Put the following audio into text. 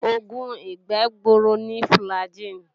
Oògùn ìgbẹ́ gbuuru ni fùlàgi